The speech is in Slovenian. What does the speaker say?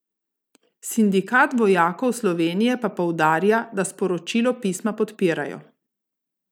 Sindikat vojakov Slovenije pa poudarja, da sporočilo pisma podpirajo.